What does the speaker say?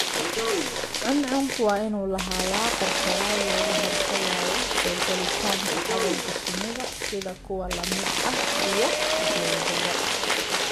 Cuncunku waa inuu lahaadaa qorshayaal looga hortagayo soo gelitaanka cadawga shinnida sida kuwa lamid ah iyo boodada.